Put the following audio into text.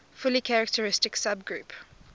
fully characteristic subgroup